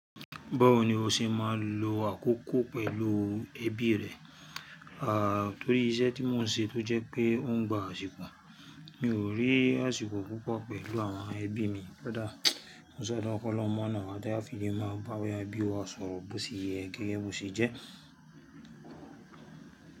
Báwo ni o ṣe máa ń lo àkókò pẹ̀lú ẹbí rẹ? Ah torí iṣẹ́ tí mò ń ṣe tó jẹ́ pé ó ń gba àsìkò, mi ò rí àsìkò púpọ̀ pẹ̀lú àwọn ẹbí mi dáadáa. Mo sadua k'ọlọhun máà na wa tí a fi lè máa bá àwọn ẹbí wa ṣọ̀rọ̀ bó ti yẹ gẹ́gẹ́ bí ó ṣe jẹ́.